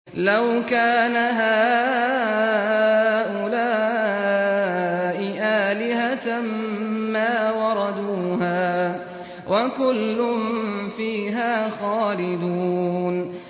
لَوْ كَانَ هَٰؤُلَاءِ آلِهَةً مَّا وَرَدُوهَا ۖ وَكُلٌّ فِيهَا خَالِدُونَ